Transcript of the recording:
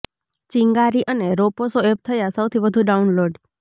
ચિંગારી અને રોપોસો એપ થયા સૌથી વધુ ડાઉનલોડ